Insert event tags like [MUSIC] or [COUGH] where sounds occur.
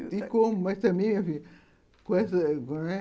E como, mas também minha filha com essa [UNINTELLIGIBLE]